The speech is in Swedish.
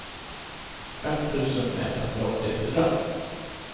fem tusen etthundraåttiofyra